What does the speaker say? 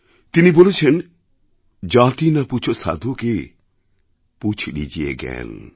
তিনি বলেছেন জাতি না পুছো সাধু কী পুছ লিজিয়ে জ্ঞান